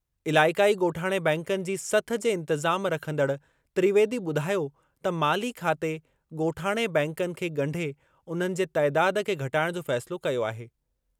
इलाइक़ाई ॻोठाणे बैंकनि जी सथ जे इंतिज़ाम रखंदड़ त्रिवेदी ॿुधायो त माली खाते ॻोठाणे बैंकनि खे ॻंढे उन्हनि जे तइदाद खे घटाइणु जो फ़ैसिलो कयो आहे।